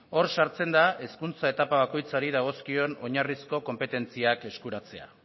hor sartzen da hezkuntza etapa bakoitzari dagozkion oinarrizko konpetentziak eskuratzea